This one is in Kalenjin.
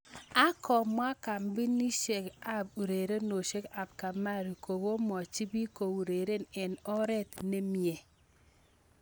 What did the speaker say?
ak komwa kambinisiek ab urerenosiek ab Kamari kokomwochi biik koureren eng oret ne minyee.